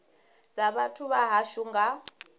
dza vhathu vha hashu nga